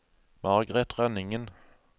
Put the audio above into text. Margaret Rønningen